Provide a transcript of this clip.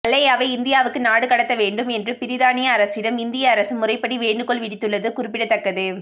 மல்லையாவை இந்தியாவுக்கு நாடு கடத்த வேண்டும் என்று பிரித்தானியா அரசிடம் இந்திய அரசு முறைப்படி வேண்டுகோள் விடுத்துள்ளது குறிப்பிடத்தக்கது